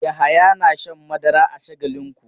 Yahaya na shan madara a Shagalinku.